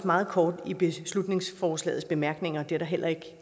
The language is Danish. meget kort i beslutningsforslagets bemærkninger det er der heller ikke